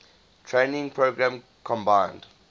training program combined